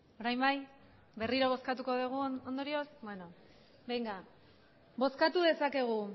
orain bai berriro bozkatuko dugu ondorioz benga bozkatu dezakegu